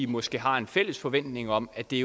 måske har en fælles forventning om at det